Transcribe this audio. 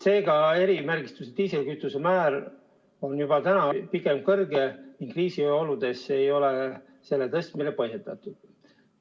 Seega on erimärgistusega diislikütuse aktsiisimäär juba praegu pigem kõrge ning kriisioludes ei ole selle tõstmine põhjendatud.